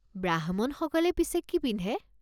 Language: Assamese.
ব্ৰাহ্মণসকলে পিছে কি পিন্ধে?